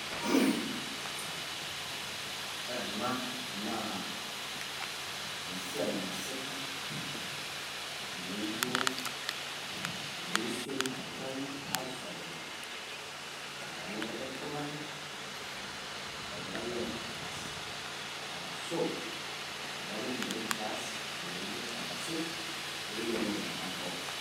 Ore enaa naa esiai naasitai neijo emirishoi naang'rai ashaikino neyeua likai iltung'ani neng'rai aitangaas. Orashoo olbaarunye lenkias ayeuni netang'aasi pee eyelou iltung'anak pooki.